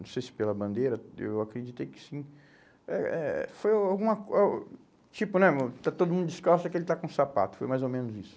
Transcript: não sei se pela bandeira, eu acreditei que sim, é é foi alguma ou, tipo né, está todo mundo descalço, é que ele está com sapato, foi mais ou menos isso.